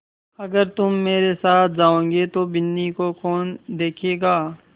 अगर तुम मेरे साथ जाओगे तो बिन्नी को कौन देखेगा